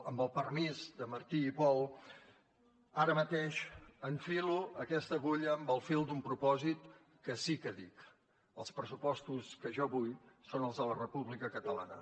amb el permís de martí i pol ara mateix enfilo aquesta agulla amb el fil d’un propòsit que sí que dic els pressupostos que jo vull són els de la república catalana